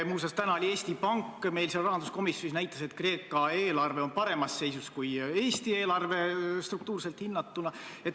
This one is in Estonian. Muuseas, täna oli Eesti Pank meil rahanduskomisjonis ja näitas, et Kreeka eelarve on paremas seisus kui Eesti oma – struktuurselt hinnatuna.